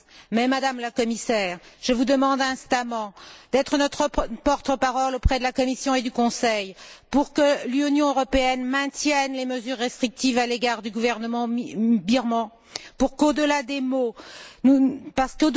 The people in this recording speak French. Mais, Madame la Commissaire, je vous demande instamment d'être notre porte parole auprès de la Commission et du Conseil pour que l'Union européenne maintienne les mesures restrictives à l'égard du gouvernement birman parce